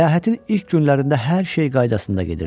Səyahətin ilk günlərində hər şey qaydasında gedirdi.